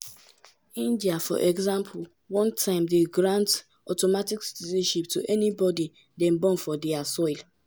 today most african kontris require at at least one parent to be citizen or a permanent resident.